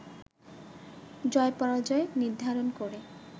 জয় পরাজয় নির্ধারণ করে